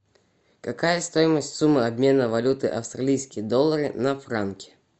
какая стоимость суммы обмена валюты австралийские доллары на франки